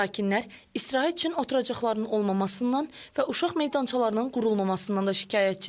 Sakinlər istirahət üçün oturacaqların olmamasından və uşaq meydançalarının qurulmamasından da şikayətçidirlər.